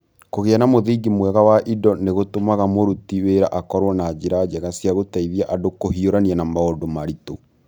Kũgĩa na mũthingi mwega wa indo nĩ gũtũmaga mũruti wĩra akorũo na njĩra njega cia gũteithia andũ kũhiũrania na maũndũ maritũ.